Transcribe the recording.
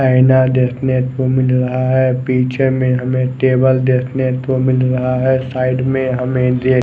आयना देखने को मिल रहा है पीछे में हमे टेबल देखने को मिल रहा है साईड में हमे--